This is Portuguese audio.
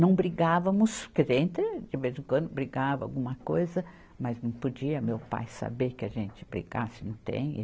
Não brigávamos, quer dizer, a gente de vez em quando brigava alguma coisa, mas não podia meu pai saber que a gente brigasse, não tem.